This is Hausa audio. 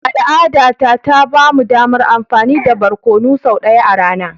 Al'adata ta ba mu damar amfani da barkonu sau ɗaya a rana.